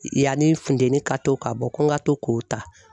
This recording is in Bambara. Yanni funteni ka to ka bɔ ko n ka to k'o ta.